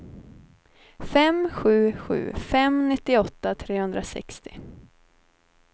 fem sju sju fem nittioåtta trehundrasextio